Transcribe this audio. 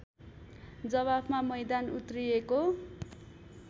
जवाफमा मैदान उत्रिएको